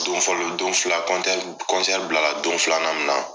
Don fɔli don fila kɔnsɛri bila la don filanan min na